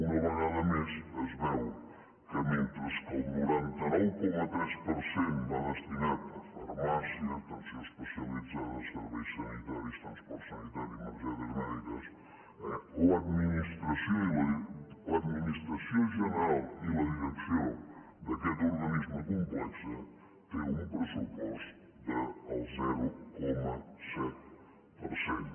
una vegada més es veu que mentre que el noranta nou coma tres per cent va destinat a farmàcia atenció especialitzada serveis sanitaris transport sanitari emergències mèdiques eh l’administració general i la direcció d’aquest organisme complex tenen un pressupost del zero coma set per cent